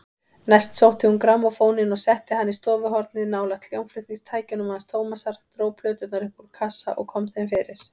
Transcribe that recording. Næst sótti hún grammófóninn og setti hann í stofuhornið nálægt hljómflutningstækjunum hans Tómasar, dró plöturnar upp úr kassa og kom þeim fyrir.